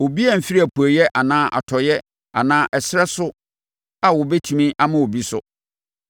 Obiara mmfiri apueeɛ anaa atɔeɛ anaa ɛserɛ no so a ɔbɛtumi ama obi so.